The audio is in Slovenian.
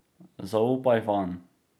Zaupaj vanj.